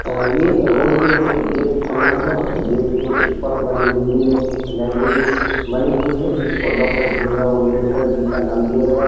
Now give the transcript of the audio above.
ये रोड के ऊपर एक गेट बना हुआ है। गेट के ऊपर वाली मंजिल में एक लाइब्रेरी बनी हुई है। जिसको डॉक्टर भीमराव अंबेडकर जी का नाम दिया गया है।